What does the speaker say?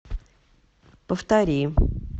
повтори